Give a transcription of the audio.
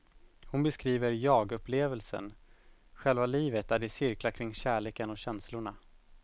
Hon beskriver jagupplevelsen, själva livet där det cirklar kring kärleken och känslorna.